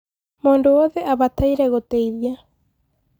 múndú wothe abataire gúteithia